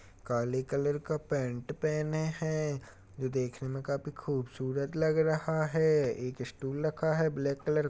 काले कलर का पैंट पहने हैं जो देखने में काफी खूबसूरत लग रहा है एक स्टूल रखा है ब्लैक कलर --